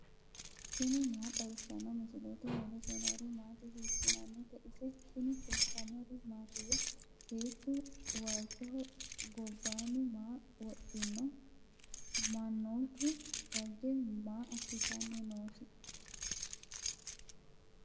tini maa xawissanno misileeti ? mulese noori maati ? hiissinannite ise ? tini kultannori mattiya? Beettu waalichoho gobbanni maa wodhinno? manoottu dage maa asitanni noosi?